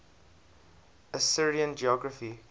assyrian geography